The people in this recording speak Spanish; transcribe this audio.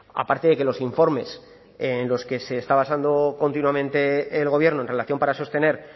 aparte de que los informes en los que se está basando continuamente el gobierno en relación para sostener